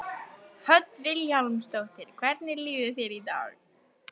Hödd Vilhjálmsdóttir: Hvernig líður þér í dag?